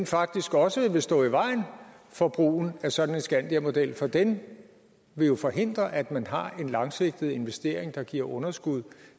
faktisk også vil stå i vejen for brugen af sådan en skandiamodel for den vil jo forhindre at man har en langsigtet investering der giver underskud